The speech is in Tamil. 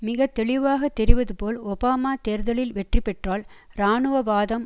மிக தெளிவாக தெரிவது போல் ஒபாமா தேர்தலில் வெற்றி பெற்றால் இராணுவவாதம்